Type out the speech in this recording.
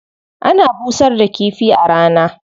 Ana busar da kifi a rana.